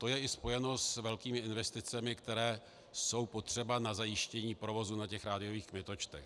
To je i spojeno s velkými investicemi, které jsou potřeba na zajištění provozu na těch rádiových kmitočtech.